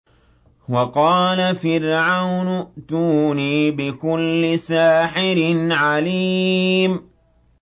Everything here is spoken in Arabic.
وَقَالَ فِرْعَوْنُ ائْتُونِي بِكُلِّ سَاحِرٍ عَلِيمٍ